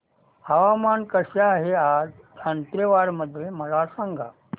हवामान कसे आहे आज दांतेवाडा मध्ये मला सांगा